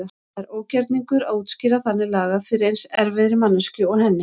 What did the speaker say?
Það er ógjörningur að útskýra þannig lagað fyrir eins erfiðri manneskju og henni.